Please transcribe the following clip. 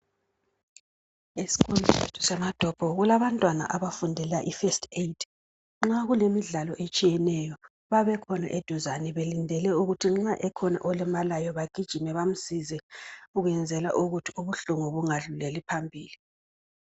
Esikolo sethu eMatopo kulabantwana abafundela ifirst aid nxa kulemidlalo etshiyeneyo bayabe bekhona eduzane belindele ukuthi nxa ekhona olimalayo bagijime bamncede ukwenzela ukuthi ubuhlungu bungadluleli phambili.